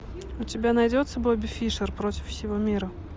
у тебя найдется бобби фишер против всего мира